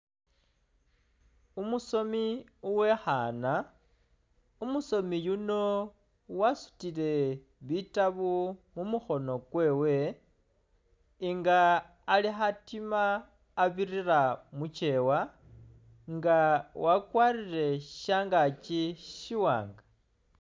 Umusomi uwekhana, umusomi yuuno wasutile bitabu mumukhono kwewe nga khatima abilira mukewa nga wakwarile shangaki shiwanga